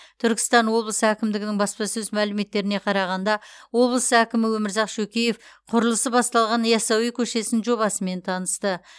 түркістан облысы әкімдігінің баспасөз мәліметтеріне қарағанда облыс әкімі өмірзақ шөкеев құрылысы басталған ясауи көшесінің жобасымен танысты